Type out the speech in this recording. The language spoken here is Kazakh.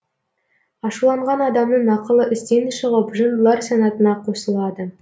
ашуланған адамның ақылы істен шығып жындылар санатына қосылады